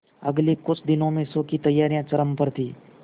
अगले कुछ दिनों में शो की तैयारियां चरम पर थी